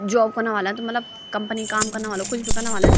जॉब कना ह्वाला त मलब कंपनी क काम कना ह्वाला कुछ भी कना ह्वाला न।